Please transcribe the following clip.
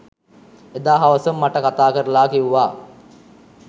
එදා හවසම මට කතා කරලා කිව්වා